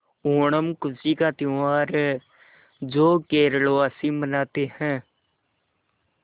ओणम खुशी का त्यौहार है जो केरल वासी मनाते हैं